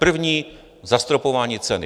První - zastropování ceny.